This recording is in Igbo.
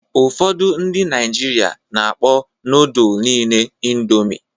Ụfọdụ ndị Naịjirịa na-akpọ nodulu niile Indomi.